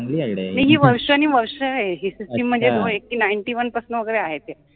चांगलि idea आहे, नाहि हि वर्षानुवर्ष आहे हि सिस्टिम म्हनजे ninety one पासन वगेरे आहे ते